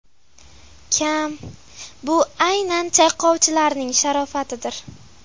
kam, bu aynan chayqovchilarning sharofatidir.